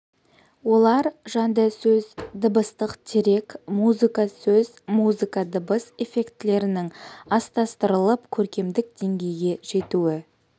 олар жанды сөз дыбыстық дерек музыка сөз музыка дыбыс эффектілерінің астастырылып көркемдік деңгейге жетуі